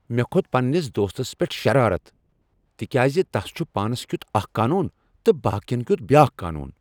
مےٚ کھوٚت پنٛنس دوستس پیٹھ شرارت تکیاز تس چھ پانس کیتھ اکھ قانون تہٕ باقین کیتھ بیاکھ قانون۔